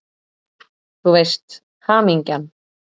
Þú veist: Hamingjan!